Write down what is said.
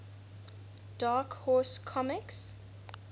dark horse comics